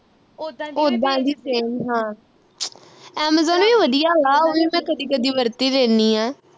ਉੱਦਾਂ ਦੀ same ਹਾਂ amazon ਵੀ ਵਧੀਆ ਵਾ ਉਹ ਵੀ ਮੈਂ ਕਦੀ ਕਦੀ ਵਰਤ ਈ ਲੈਣੀ ਆ